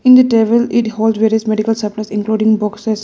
In the table it hold various medical supplies including boxes.